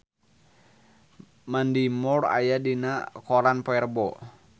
Mandy Moore aya dina koran poe Rebo